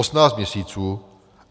Osmnáct měsíců!